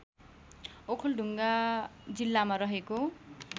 ओखलढुङ्गा जिल्लामा रहेको